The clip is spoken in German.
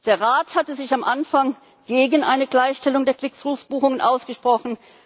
Der Rat hatte sich am Anfang gegen eine Gleichstellung der Click through Buchungen ausgesprochen.